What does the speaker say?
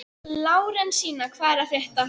Lárensína, hvað er að frétta?